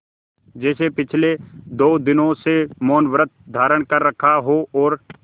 जैसे पिछले दो दिनों से मौनव्रत धारण कर रखा हो और